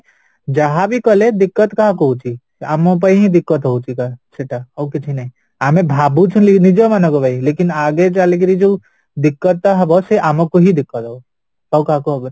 ଯାହାବି କଲେ କାହାକୁ ହଉଚି ଆମ ପାଇଁ ହିଁ ହଉଚି ସେଟା ଆଉକିଛି ନାହିଁ ଆମେ ଭାବୁଚୁ ନିଜ ମାନଙ୍କ ପାଇଁ ଆଗେ ଚାଲିକିରି ଯୋଉ ଟା ହବ ସେ ଆମକୁ ହିଁ ହବ ଆଉ କାହାକୁ ହବନି